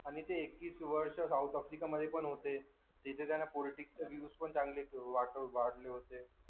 आणि ते एकवीस वर्ष South Africa होते तिथे त्यांना चांगले वाढले होते.